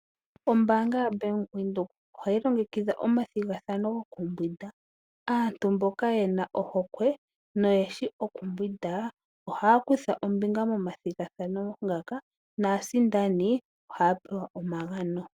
Oombanga yo Bank Windhoek ohayi longekidha omathigathano goku mbwinda aantu mboka yena ohokwe no yeshi okumbwinda ohaya kutha ombinga momathigathano ngaka naasindani ohaya pewa omagano.